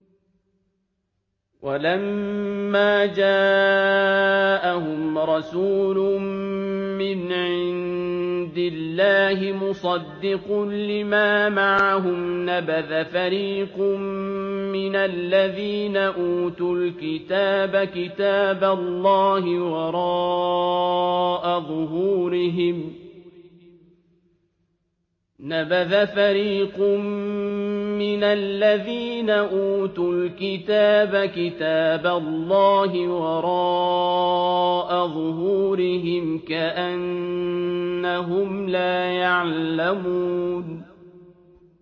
وَلَمَّا جَاءَهُمْ رَسُولٌ مِّنْ عِندِ اللَّهِ مُصَدِّقٌ لِّمَا مَعَهُمْ نَبَذَ فَرِيقٌ مِّنَ الَّذِينَ أُوتُوا الْكِتَابَ كِتَابَ اللَّهِ وَرَاءَ ظُهُورِهِمْ كَأَنَّهُمْ لَا يَعْلَمُونَ